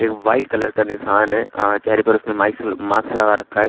ये white colour का निशान है अं चेहरे पर उसने माइक्स मास्क लगा रखा है।